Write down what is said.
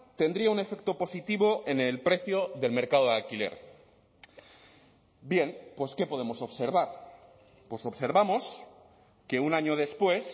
tendría un efecto positivo en el precio del mercado de alquiler bien pues qué podemos observar pues observamos que un año después